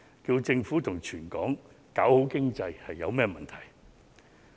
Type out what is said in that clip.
促請政府及全港搞好經濟有甚麼問題？